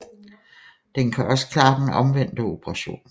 Den kan også klare den omvendte operation